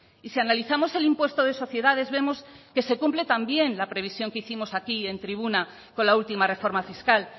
y si analizamos el impuesto de sociedades vemos que se cumple también la previsión que hicimos aquí en tribuna con la última reforma fiscal